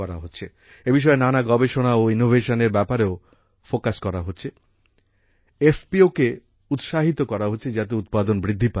এই বিষয়ে নানা গবেষণা ও ইনোভেশন এর ব্যাপারেও ফোকাস করা হচ্ছে FPOকে উৎসাহিত করা হচ্ছে যাতে উৎপাদন বৃদ্ধি পায়